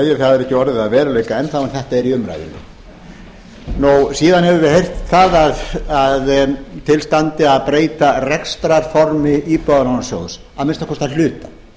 ekki orðið að veruleika enn þá en þetta er í umræðunni síðan höfum við heyrt að til standi að breyta rekstrarformi íbúðalánasjóð að minnsta kosti að hluta